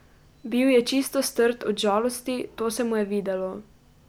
Bil je čisto strt od žalosti, to se mu je videlo.